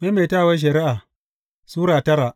Maimaitawar Shari’a Sura tara